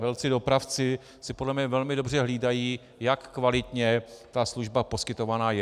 Velcí dopravci si podle mě velmi dobře hlídají, jak kvalitně ta služba poskytovaná je.